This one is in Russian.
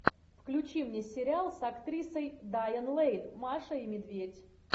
включи мне сериал с актрисой дайан лэйн маша и медведь